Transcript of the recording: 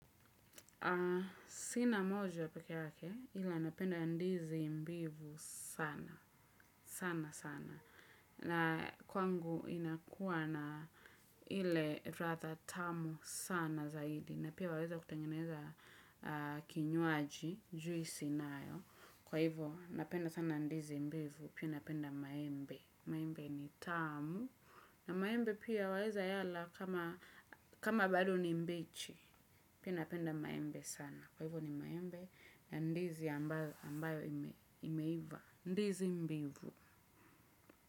Sina moja peke yake ila napenda ndizi mbivu sana sana sana. Na kwangu inakuwa na ile radha tamu sana zaidi. Na pia waweza kutengeneza kinywaji juisi nayo. Kwa hivyo napenda sana ndizi mbivu pia napenda maembe. Maembe ni tamu. Na maembe pia waweza yala kama bado ni mbichi pia napenda maembe sana kwa hivyo ni maembe. Na ndizi ambayo imeiva. Ndizi mbivu.